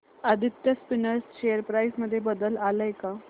Aditya spinners share price मध्ये बदल आलाय का